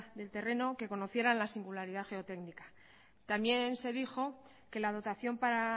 del terreno que conocieran la singularidad geotécnica también se dijo que la dotación para